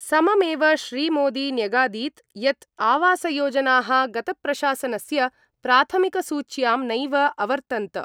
सममेव श्रीमोदी न्यगादीत् यत् आवासयोजनाः गतप्रशासनस्य प्राथमिकसूच्यां नैव अवर्तन्त।